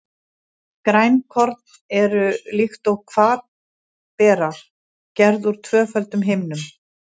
Grænukorn eru, líkt og hvatberar, gerð úr tvöföldum himnum.